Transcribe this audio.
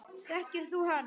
Þekkir þú hann?